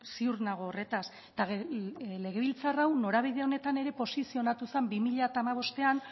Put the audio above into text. ziur nago horretaz eta legebiltzar hau norabide honetan ere posizionatu zen bi mila hamabostean